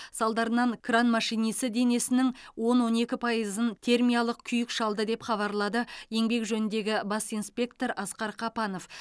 салдарынан кран машинисі денесінің он он екі пайызын термиялық күйік шалды деп хабарлады еңбек жөніндегі бас инспектор асқар қапанов